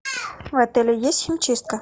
в отеле есть химчистка